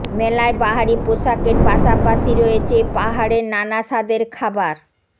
মেলায় বাহারি পোশাকের পাশাপাশি রয়েছে পাহাড়ের নানা স্বাদের খাবার